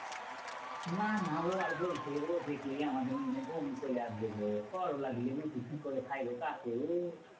না না ও আর বলতে ও দেখলেই আমাদের মনে বমি চলে আসবে গো। করোলা দিয়ে রুটি কি করে খায় গো কাকু?